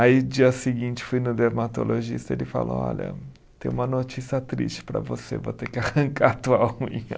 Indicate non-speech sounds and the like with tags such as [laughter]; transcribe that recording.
Aí, dia seguinte, fui no dermatologista, ele falou, olha, tenho uma notícia triste para você, vou ter que arrancar [laughs] a tua unha.